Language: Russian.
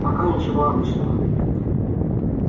пока ничего обычного